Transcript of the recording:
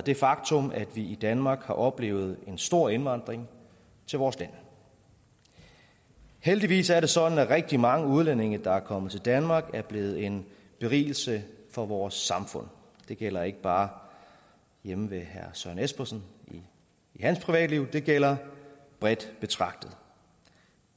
det faktum at vi i danmark har oplevet en stor indvandring til vores land heldigvis er det sådan at rigtig mange udlændinge der er kommet til danmark er blevet en berigelse for vores samfund det gælder ikke bare hjemme ved herre søren espersen i hans privatliv det gælder bredt betragtet